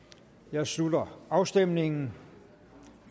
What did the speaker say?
jeg slutter afstemningen